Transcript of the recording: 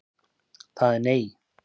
Það er nei.